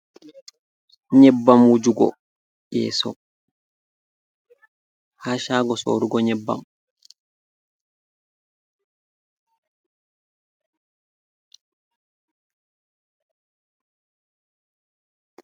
Nyeɓɓam wujugo yeeso ha chago soorugo nyeɓɓam.